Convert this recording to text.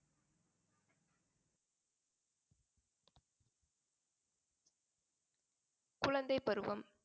குழந்தைப் பருவம்